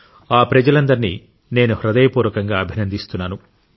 ఆ ప్రజాలందరినీ నేను హృదయపూర్వకంగా అభినందిస్తున్నాను